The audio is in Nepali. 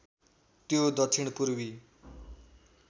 त्यो दक्षिण पूर्वी